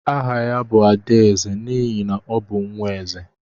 Áhà ya bu Adaeze n'ihi na ọ bụ nwaeze.